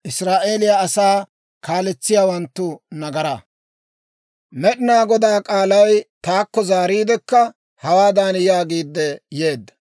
Med'inaa Godaa k'aalay taakko zaariidekka hawaadan yaagiidde yeedda;